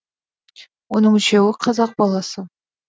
оның үшеуі қазақ баласы